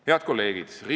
Head kolleegid!